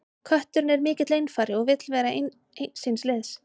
Kötturinn er mikill einfari og vill vera eins síns liðs.